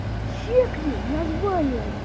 чекни название